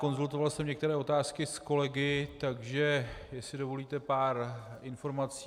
Konzultoval jsem některé otázky s kolegy, takže jestli dovolíte, pár informací.